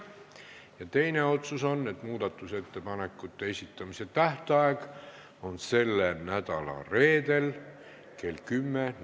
Ja teine otsus on, et muudatusettepanekute esitamise tähtaeg on selle nädala reedel kell 10.